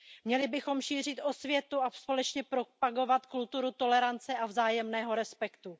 Měli bychom šířit osvětu a společně propagovat kulturu tolerance a vzájemného respektu.